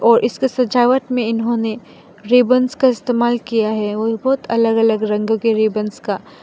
और इसके सजावट मे इन्होंने रिबन्स का इस्तमाल किया है और बहोत अलग अलग रंग के रिबन्स का --